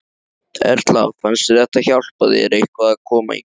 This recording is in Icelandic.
Erla: Fannst þér þetta hjálpa þér eitthvað að koma hingað?